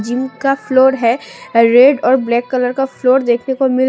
इनका फ्लोर है रेड और ब्लैक कलर का फ्लोर देखने को मिल--